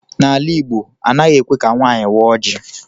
N'ala Igbo, anaghị ekwe ka nwaanyị waa oji.